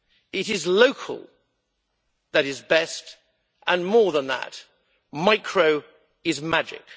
It is local that is best and more than that, micro is magic.